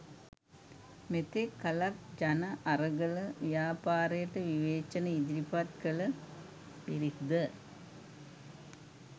මෙතෙක් කලක් ජනඅරගල ව්‍යාපාරයට විවේචන ඉදිරිපත් කළ පිරිස් ද